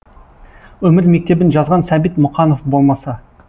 өмір мектебін жазған сәбит мұқанов болмаса